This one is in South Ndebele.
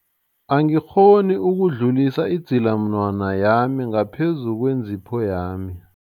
Angikghoni ukudlulisa idzilamunwana yami ngaphezu kwentipho yami.